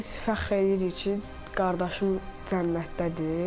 Biz fəxr eləyirik ki, qardaşım cənnətdədir.